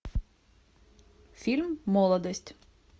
фильм молодость